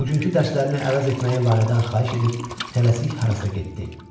Bugünkü dərslərini əvəz etməyi Lalədən xahiş edib tələsik harasa getdi.